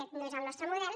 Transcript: aquest no és el nos·tre model